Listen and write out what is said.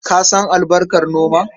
Ka san albarkar noma?